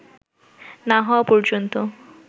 না হওয়া পর্যন্ত